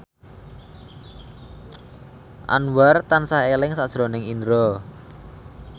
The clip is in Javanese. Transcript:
Anwar tansah eling sakjroning Indro